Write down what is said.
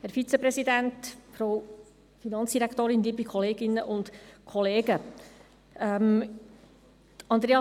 Andrea Zryd hat unsere Motion ja bereits begründet.